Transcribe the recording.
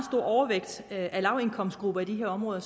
overvægt af lavindkomstgrupper i de her områder